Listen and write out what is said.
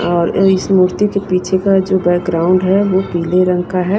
और इस मूर्ति के पीछे का जो बैकग्राउंड है वो पीले रंग का है।